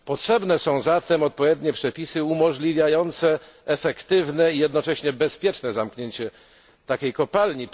Potrzebne są zatem odpowiednie przepisy umożliwiające efektywne i jednocześnie bezpieczne zamknięcie takiej kopalni.